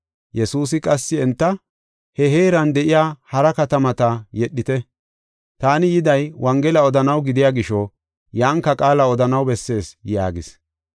Yesuusi qassi enta, “He heeran de7iya hara katamata yedhite. Taani yiday Wongela odanaw gidiya gisho yanka qaala odanaw bessees” yaagis.